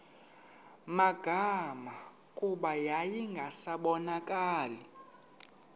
magama kuba yayingasabonakali